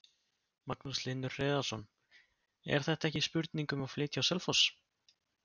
Magnús Hlynur Hreiðarsson: Er þetta ekki spurning um að flytja á Selfoss?